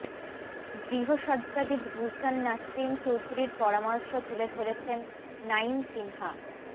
গৃহসজ্জাবিদ গুলসান নাসরিন চৌধুরীর পরামর্শ তুলে ধরেছেন নাঈম সিনহা